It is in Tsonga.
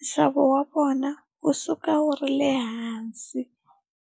nxavo wa vona wu suka wu ri le hansi.